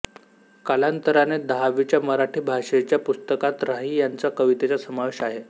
कालांतराने दहावीच्या मराठी भाषेच्या पुस्तकात राही यांच्या कवितेचा समावेश आहे